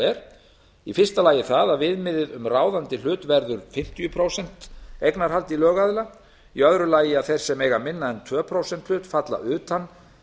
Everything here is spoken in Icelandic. er í fyrsta lagi það að viðmiðið um ráðandi hlut verður fimmtíu prósent eignarhald í lögaðila í öðru lagi að þeir sem eiga minna en tveggja prósenta hlut falla utan